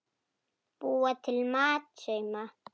Búa til mat- sauma